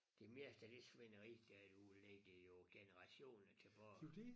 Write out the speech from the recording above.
Det meste af det svineri der er derude ligger jo generationer tilbage